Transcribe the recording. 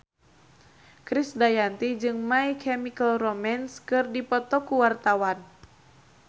Krisdayanti jeung My Chemical Romance keur dipoto ku wartawan